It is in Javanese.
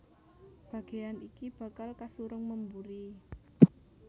Bagéyan iki bakal kasurung memburi